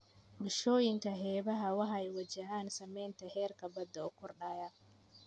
Bulshooyinka xeebaha waxay wajahaan saameynta heerka badda oo kordhaya.